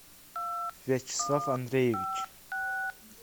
вячеслав андреевич